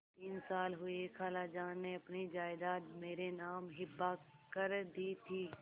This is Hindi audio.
तीन साल हुए खालाजान ने अपनी जायदाद मेरे नाम हिब्बा कर दी थी